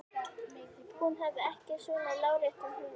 Hún hafði ekki svona láréttan húmor.